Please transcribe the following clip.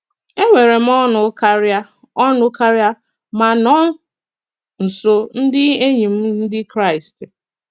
Enwere m ọṅụ kárịa ọṅụ kárịa ma nọ nso ndị enyi m Ndị Kraịst.